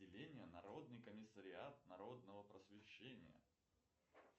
отделение народный комиссариат народного просвещения